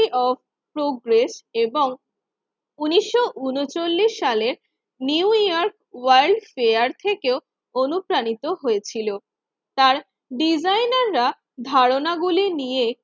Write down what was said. টি অপ্রগ্রেস এবং উন্নিশশো ঊনচল্লিস সালের নিউ ইয়ার ওয়ার্ল্ড পেয়ার থেকেও অনুপ্রাণিত হয়েছিল। তার ডিজাইনের রা ধারণা গুলি নিয়ে